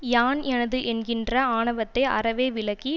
யான் எனது என்கின்ற ஆணவத்தை அறவே விலக்கி